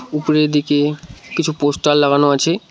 উপরের দিকে কিছু পোস্টার লাগানো আছে।